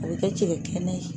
A bɛ kɛ cɛkɛ kɛnɛ ye.